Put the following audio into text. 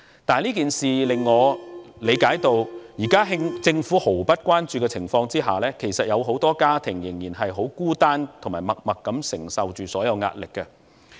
但這件事令我理解到，目前在政府毫不關注的情況下，有很多家庭仍然很孤單，以及默默承受着所有的壓力。